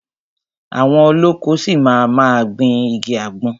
Àwọn olóko ṣi máa ma gbìn igi àgbọn.